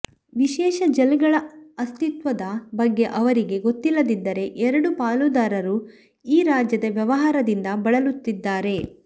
ವಿಶೇಷ ಜಲ್ಗಳ ಅಸ್ತಿತ್ವದ ಬಗ್ಗೆ ಅವರಿಗೆ ಗೊತ್ತಿಲ್ಲದಿದ್ದರೆ ಎರಡೂ ಪಾಲುದಾರರು ಈ ರಾಜ್ಯದ ವ್ಯವಹಾರದಿಂದ ಬಳಲುತ್ತಿದ್ದಾರೆ